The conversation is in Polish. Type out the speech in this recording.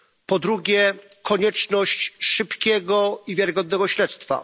Po drugie, konieczność szybkiego i wiarygodnego śledztwa.